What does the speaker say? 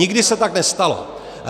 Nikdy se tak nestalo.